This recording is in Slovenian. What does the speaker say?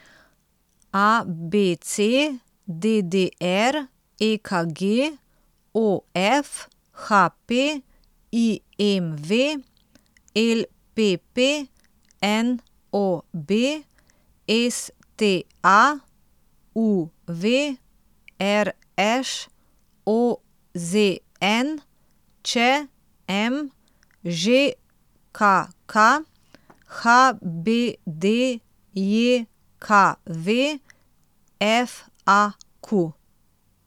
A B C; D D R; E K G; O F; H P; I M V; L P P; N O B; S T A; U V; R Š; O Z N; Č M; Ž K K; H B D J K V; F A Q.